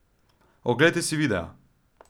Oglejte si videa!